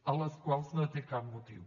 als quals no té cap motiu